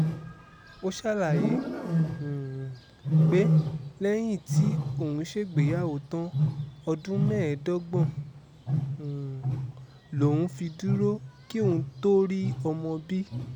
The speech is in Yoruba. ó ṣàlàyé um pé lẹ́yìn tí òun ṣègbéyàwó tán ọdún mẹ́ẹ̀ẹ́dọ́gbọ̀n um lòún fi dúró kí òun tóó rí ọmọ bí